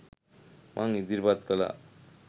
මං ඉදිරිපත් කළා.